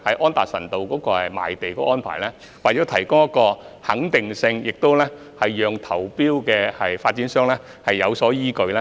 安達臣道的賣地安排必須提供確定性，讓參與投標的發展商有所依據。